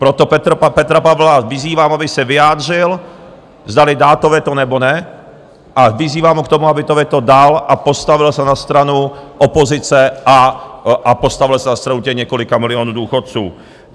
Proto Petra Pavla vyzývám, aby se vyjádřil, zdali dá to veto, nebo ne, a vyzývám ho k tomu, aby to veto dal, postavil se na stranu opozice a postavil se na stranu těch několika milionů důchodců.